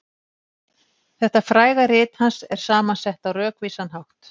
Þetta fræga rit hans er saman sett á rökvísan hátt.